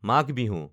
Magh Bihu